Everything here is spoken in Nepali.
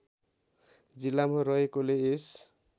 जिल्लामा रहेकोले यस